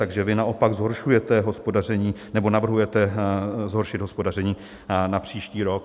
Takže vy naopak zhoršujete hospodaření nebo navrhujete zhoršit hospodaření na příští rok.